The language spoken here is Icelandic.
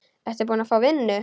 Ertu búin að fá vinnu?